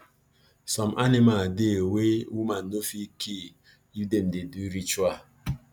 some anima dey wey woman no fit kill if dem dey do ritual